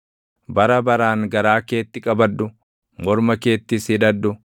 Bara baraan garaa keetti qabadhu; morma keettis hidhadhu.